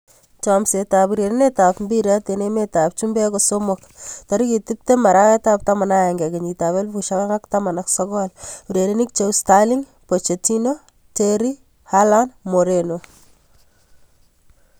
Chomset ab urerenet ab mbiret eng emet ab chumbek kosomok 20.11.2019: Sterling, Pochettino, Terry, Haaland, Moreno